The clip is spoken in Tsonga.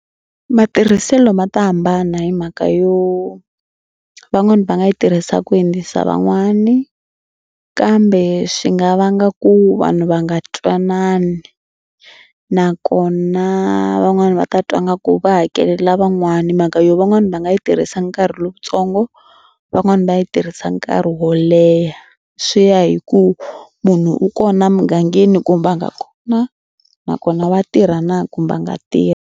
Matirhiselo ma ta hambana hi mhaka yo van'wani va nga yi tirhisa ku hundzisa van'wani kambe swi nga vanga ku vanhu va nga twanani nakona van'wani va ta twa nga ku va hakelela van'wana hi mhaka yo van'wani va nga yi tirhisa nkarhi lowutsongo van'wani va yi tirhisa nkarhi wo leha. Swi ya hi ku munhu u kona mugangeni kumbe a nga kona nakona wa tirha na kumbe a nga tirhi.